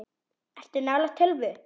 Ertu nálægt tölvu?